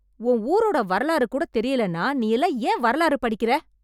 உன் ஊரோட வரலாறு கூட தெரியலன்னா நீ எல்லாம் ஏன் வரலாறு படிக்கிற?